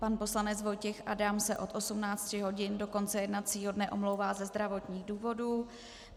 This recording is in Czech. Pan poslanec Vojtěch Adam se od 18 hodin do konce jednacího dne omlouvá ze zdravotních důvodů.